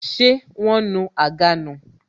Ṣé wọn nu àga nù